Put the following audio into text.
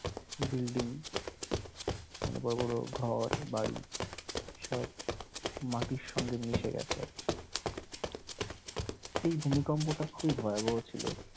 building এখানে বড় বড় ঘর বাড়ি সব মাটির সঙ্গে মিশে গেছে আরকি। এই ভূমিকম্পটা খুব ভয়াবহ ছিল।